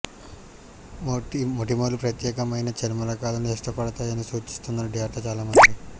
మొటిమలు ప్రత్యేకమైన చర్మ రకాలను ఇష్టపడతాయని సూచిస్తున్న డేటా చాలామంది